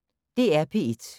DR P1